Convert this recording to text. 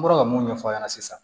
N bɔra ka mun ɲɛfɔ a ɲɛna sisan